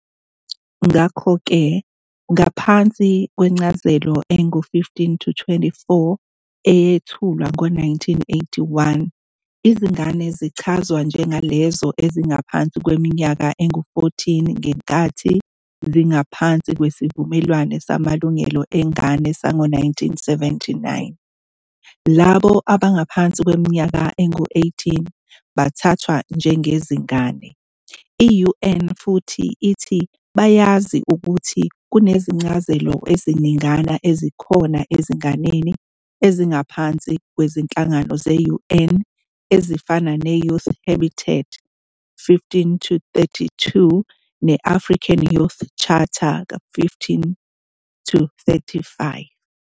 Ngakho-ke ngaphansi kwencazelo engu-15-24, eyethulwa ngo-1981, izingane zichazwa njengalezo ezingaphansi kweminyaka engu-14 ngenkathi zingaphansi kweSivumelwano Samalungelo Engane sango-1979, labo abangaphansi kweminyaka engu-18 bathathwa njengezingane. I-UN futhi ithi bayazi ukuthi kunezincazelo eziningana ezikhona ezinganeni ezingaphansi kwezinhlangano ze-UN ezifana ne- Youth Habitat 15-32 ne-African Youth Charter 15-35.